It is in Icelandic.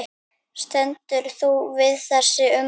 Stendur þú við þessi ummæli?